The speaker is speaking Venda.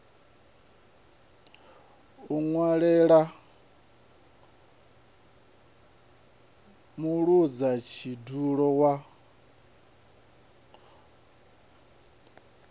muṅwaleli na mudzula tshidulo wa